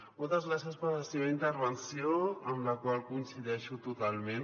moltes gràcies per la seva intervenció amb la qual coincideixo totalment